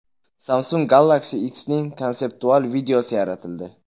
Samsung Galaxy X’ning konseptual videosi yaratildi .